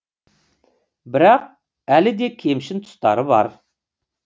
бірақ әлі де кемшін тұстары бар